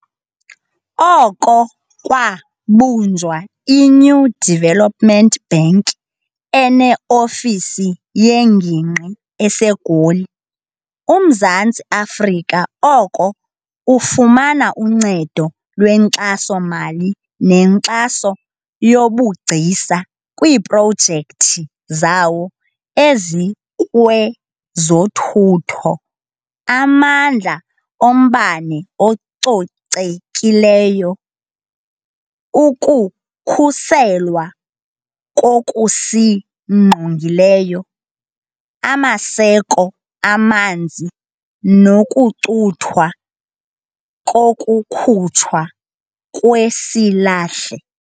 Oko kwabunjwa i-New Development Bank, ene-ofisi yengingqi eseGoli, uMzantsi Afrika oko ufumana uncedo lwenkxaso-mali nenkxaso yobugcisa kwiiprojekthi zawo ezikwezothutho, amandla ombane acocekileyo, ukukhuselwa kokusingqongileyo, amaseko amanzi nokucuthwa kokukhutshwa kwesilahle.